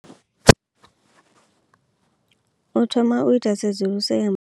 U thoma u ita tsedzuluso ya.